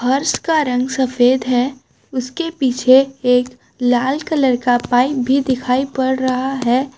फर्श का रंग सफेद है उसके पीछे एक लाल कलर का पाइप भी दिखाई पड़ रहा है।